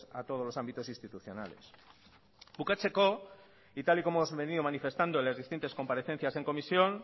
a todos los ámbitos institucionales bukatzeko y tal y como os he venido manifestando en las distintas comparecencias en comisión